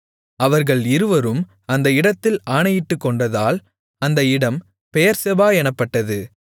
அவர்கள் இருவரும் அந்த இடத்தில் ஆணையிட்டுக்கொண்டதால் அந்த இடம் பெயெர்செபா எனப்பட்டது